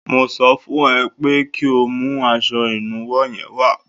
Mo sọ fún ẹ pé kí o mú aṣọ ìnuwọ́ yẹn wá